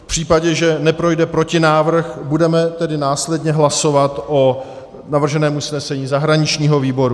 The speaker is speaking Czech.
V případě, že neprojde protinávrh, budeme tedy následně hlasovat o navrženém usnesení zahraničního výboru.